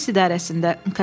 Polis idarəsində.